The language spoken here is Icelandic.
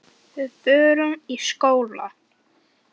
Við förum í skóla.